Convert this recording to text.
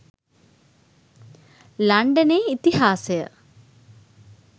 ලන්ඩනයේ ඉතිහාසය